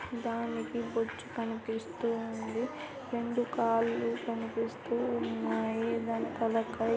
దానికి బొచ్చు కనిపిస్తూ ఉంది రెండు కాళ్ళు కనిపిస్తూ ఉన్నాయి దాని తలకాయ్ ----